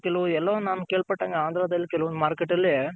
ಎಲ್ಲೋ ನಾನು ಕೆಳ್ ಪಟ್ಟಂಗೆ ಆಂದ್ರ ದಲ್ ಕೆಲವೊಂದ್ Market ಅಲ್ಲಿ.